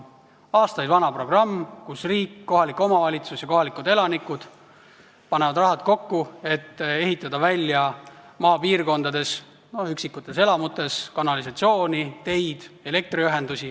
See on aastaid vana programm, kus riik, omavalitsus ja kohalikud elanikud panevad rahad kokku, et ehitada maapiirkondades üksikute elamute jaoks kanalisatsiooni, teid, elektriühendusi.